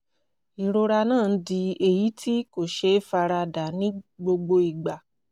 ìrora náà ń di èyí tí kò ṣeé fara dà ní gbogbo ìgbà